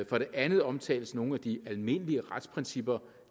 for det andet omtales nogle af de almindelige retsprincipper